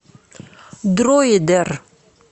дроидер